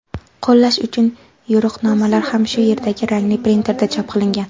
qo‘llash uchun yo‘riqnomalar ham shu yerdagi rangli printerda chop qilingan.